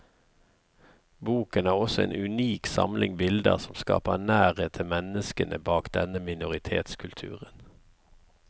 Boken har også en unik samling bilder som skaper nærhet til menneskene bak denne minoritetskulturen.